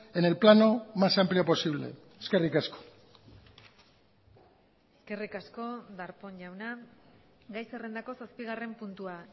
en el plano más amplio posible eskerrik asko eskerrik asko darpón jauna gai zerrendako zazpigarren puntua